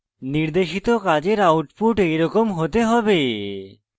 নির্দেশিত কাজের আউটপুট এরকম হতে হবে